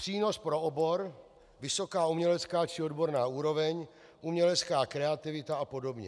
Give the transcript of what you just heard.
Přínos pro obor, vysoká umělecká či odborná úroveň, umělecká kreativita a podobně.